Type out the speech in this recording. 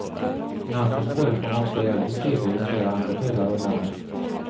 Namnet förekom också i äldre tider i flera andra delar av landet.